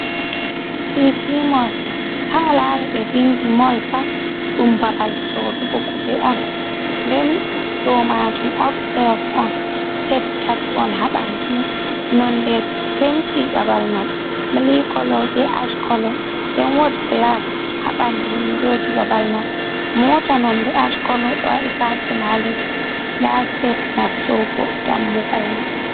Siiti mol, haa laari ɓe vinndi mol pat, ɗum babal soorugo kuje on, nden ɗo maajum obsiteyas on, siteb tati on haa ɓanndu may, nonde penti babal man mili kolo, be aackolo. Nden woɗ gilas, haa ɓanndu winndooji babal man. Moota nonde aackolo, ɗo waɗi paakin haa ledde, ndaa sitebs nastugo dammugal man.